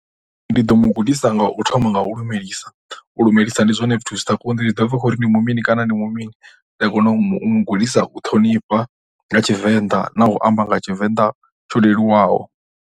Ndi ḓo mu gudisa nga u thoma nga u lumelisa, u lumelisa ndi zwone zwithu zwi sa kondi, zwi ḓo bva kha uri ndi mini kana ndi mu mini nda kona u mu gudisa u ṱhonifha nga Tshivenḓa na u amba nga Tshivenḓa tsho leluwaho.